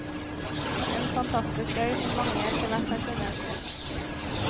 En fantastisk øy som mange etterhvert har funnet.